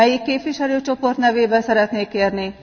Melyik képviselőcsoport nevében szeretné kérni?